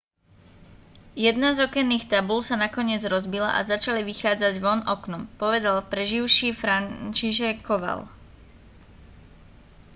jedna z okenných tabúľ sa nakoniec rozbila a začali vychádzať von oknom povedal preživší franciszek kowal